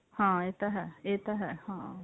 ਹਾਂ ਇਹ ਤਾਂ ਹੈ ਇਹ ਤਾਂ ਹੈ ਹਾਂ